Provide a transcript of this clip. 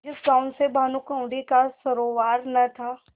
जिस गॉँव से भानुकुँवरि का सरोवार न था